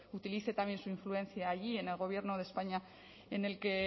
utilice también su influencia allí en el gobierno de españa en el que